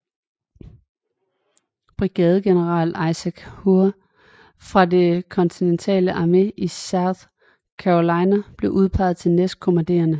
Brigadegeneral Isaac Huger fra den kontinentale armé i South Carolina blev udpeget til næstkommanderende